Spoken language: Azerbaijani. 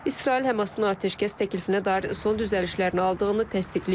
İsrail Həmasın atəşkəs təklifinə dair son düzəlişlərini aldığını təsdiqləyib.